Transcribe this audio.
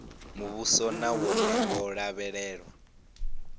muvhuso na wone wo lavhelewa